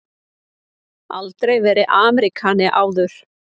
Aldrei verið Ameríkani áður.